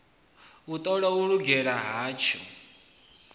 u ṱola u lugela hatsho